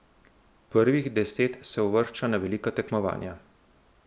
Prvih deset se uvršča na velika tekmovanja.